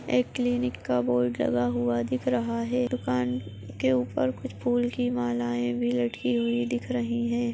एक क्लीनिक का बोर्ड लगा हुआ दिख रहा है दुकान के ऊपर कुछ फूलों की मलाई भी लटकी हुई दिख रही है।